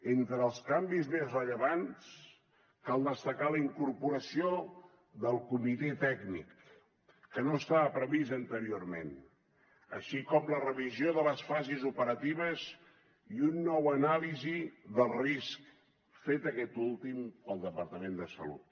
entre els canvis més rellevants cal destacar la incorporació del comitè tècnic que no estava previst anteriorment així com la revisió de les fases operatives i una nova anàlisi del risc feta aquesta última pel departament de salut